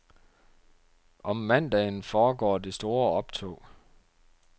Om mandagen foregår det store optog.